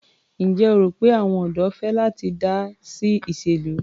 Ǹjẹ́ o rò pé àwọn ọ̀dọ́ fẹ́ láti dá sí ìṣèlú?